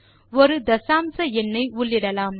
ஒரு தசாம்ச எண்னை உள்ளிடலாம்